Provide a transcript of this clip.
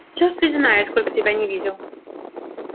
черт ведь знает сколько тебя не видел